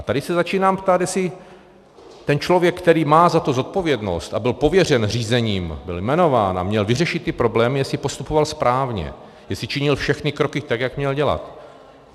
A tady se začínám ptát, jestli ten člověk, který má za to zodpovědnost a byl pověřen řízením, byl jmenován a měl vyřešit ty problémy, jestli postupoval správně, jestli činil všechny kroky tak, jak měl dělat.